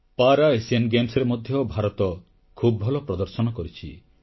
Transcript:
ପରା ଏସିଆନ ଗେମ୍ସରେ ମଧ୍ୟ ଭାରତ ଖୁବ ଭଲ ପ୍ରଦର୍ଶନ କରିଛି